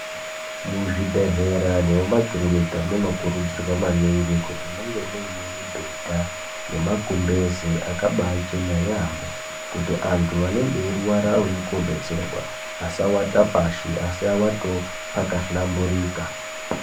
Muzvibhedhlera nemumakirinika munokurudzirwa maningi kuti munge muine mibhedha nemagumbeze akabachena yaampho. Kuti antu anenge eirwara auya kobetserwa asawatapashi asi awatewo pakahlamburika.